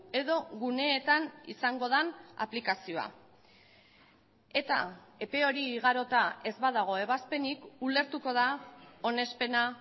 edo guneetan izango den aplikazioa eta epe hori igarota ez badago ebazpenik ulertuko da onespena